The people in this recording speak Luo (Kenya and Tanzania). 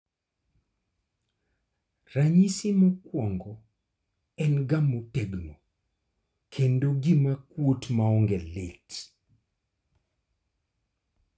Ranyisi mokwongo en ga motegno kendo gima kwot maonge lit